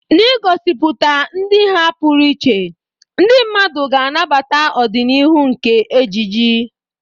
N'igosipụta ụdị ha pụrụ iche, ndị mmadụ ga-anabata ọdịnihu nke ejiji.